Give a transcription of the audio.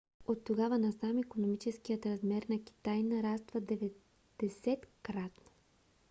оттогава насам икономическият размер на китай нараства 90-кратно